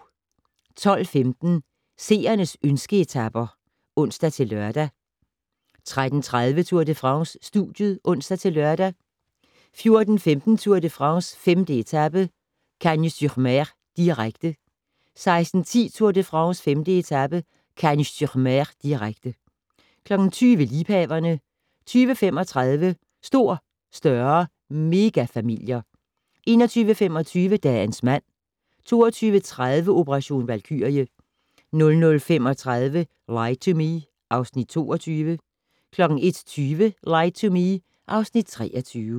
12:15: Seernes ønske-etaper (ons-lør) 13:30: Tour de France: Studiet (ons-lør) 14:15: Tour de France: 5. etape - Cagnes-sur-Mer, direkte 16:10: Tour de France: 5. etape - Cagnes-sur-Mer., direkte 20:00: Liebhaverne 20:35: Stor, større - megafamilier 21:25: Dagens mand 22:30: Operation Valkyrie 00:35: Lie to Me (Afs. 22) 01:20: Lie to Me (Afs. 23)